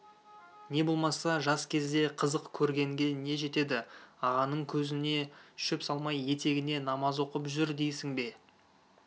не болмаса жас кезде қызық көргенге не жетеді ағаңның көзіне шөп салмай етегіне намаз оқып жүр дейсің бе